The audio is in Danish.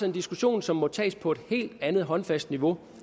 en diskussion som må tages på et helt andet håndfast niveau